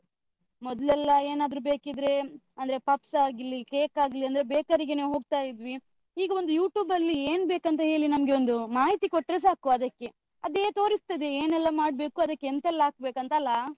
ಮೊದ್ಲೆಲ್ಲಾ ಏನ್ ಆದ್ರು ಬೇಕಿದ್ರೆ, ಅಂದ್ರೆ puffs ಆಗ್ಲಿ, cake ಆಗ್ಲಿ, ಅಂದ್ರೆ ಬೇಕರಿಗೇನೇ ಹೋಗ್ತಾ ಇದ್ವಿ. ಈಗ ಒಂದು YouTube ಅಲ್ಲಿ ಏನ್ ಬೇಕ್ ಅಂತ ಹೇಲಿ ನಮ್ಗೆ ಒಂದು ಮಾಹಿತಿ ಕೊಟ್ಟ್ರೆ ಸಾಕು ಅದಕ್ಕೆ. ಅದೇ ತೋರಿಸ್ತದೆ ಏನೆಲ್ಲಾ ಮಾಡ್ಬೇಕು, ಅದಕೆಂತೆಲ್ಲ ಹಾಕ್ಬೇಕು ಅಂತ ಅಲಾ?